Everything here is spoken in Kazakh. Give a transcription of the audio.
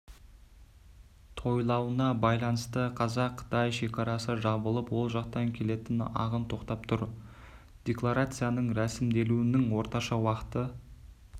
тойлануына байланысты қазақ-қытай шекарасы жабылып ол жақтан келетін ағын тоқтап тұр декларацияның рәсімделуінің орташа уақыты